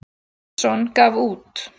Sveinsson gaf út.